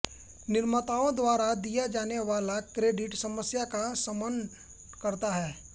निर्माताओं द्वारा दिया जाने वाला क्रेडिट समस्या का शमन करता है